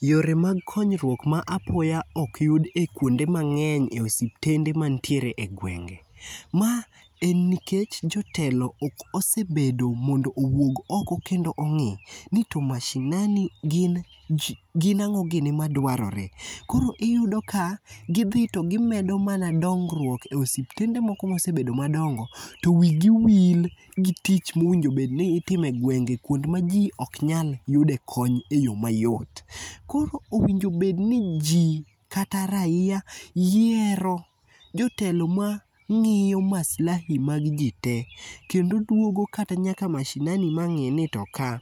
Yore mag konyruok ma apoya ok yud e kuonde mang'eny e osiptende mantiere egwenge. Ma en nikech jotelo ok osebedo mondo owuog oko kendo ong'i ni to mashinani gin ang'o gini madwarore, koro iyudo ka gidhi to gimedo mana dongruok ei osiptende moko mosebedo madongo to wigi wil gi tich mowinjko bed ni itimo e gwenge kuonde maji ok nyal yude kony eyo mayot. Koro owinjo bed ni ji kata raia yiero jotelo ma ng'iyo maslahi mag ji tee kendo duogo kata nyaka mashinani ma ng'i ni to ka